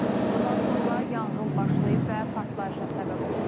Bundan sonra yanğın başlayıb və partlayışa səbəb olub.